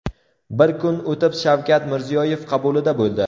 Bir kun o‘tib Shavkat Mirziyoyev qabulida bo‘ldi.